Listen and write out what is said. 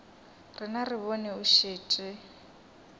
rena re bone o šetše